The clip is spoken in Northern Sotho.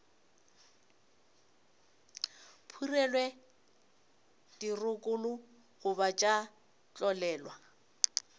phurelwe dirokolo goba tša tlolelwa